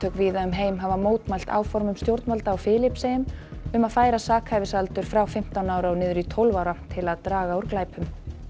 víða um heim hafa mótmælt áformum stjórnvalda á Filippseyjum um að færa sakhæfisaldur frá fimmtán ára og niður í tólf ára til að draga úr glæpum